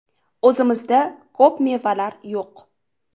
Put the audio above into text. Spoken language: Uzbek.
O‘zimizda ko‘p mevalar yo‘q.